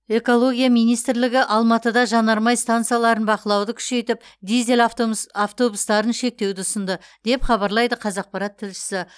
экология министрлігі алматыда жанармай стансаларын бақылауды күшейтіп дизель автобустарын шектеуді ұсынды деп хабарлайды қазақпарат тілшісі